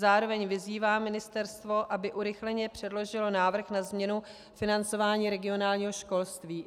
Zároveň vyzývám ministerstvo, aby urychleně předložilo návrh na změnu financování regionálního školství.